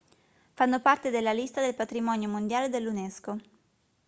fanno parte della lista del patrimonio mondiale dell'unesco